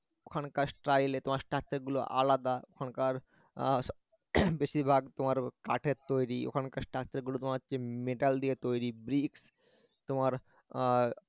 এখানকার স্টাইলে তোমার structure গুলো আলাদা এখানকার বেশিরভাগ তোমার কাঠের তৈরি ওখানকার structure গুলো তোমার হচ্ছে metal দিয়ে তৈরি bricks তোমার আহ